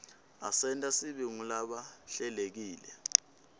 asenta sibe ngulabahlelekile